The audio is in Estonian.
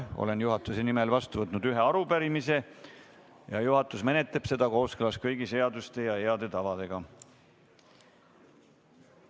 Olen juhatuse nimel vastu võtnud ühe arupärimise ning juhatus menetleb seda kooskõlas kõigi seaduste ja heade tavadega.